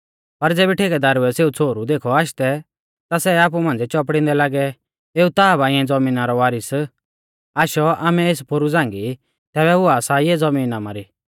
पर ज़ेबी ठेकेदारुऐ सेऊ छ़ोहरु देखौ आशदै ता सै आपु मांझ़ी चौपड़िंदै लागै कि एऊ ता बा इऐं ज़मीना रौ वारीस आशौ आमै एस पोरु झ़ांगी तैबै हुआ सा इऐ ज़बीन आमारी